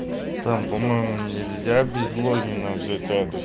там по-моему нельзя без логина взять адрес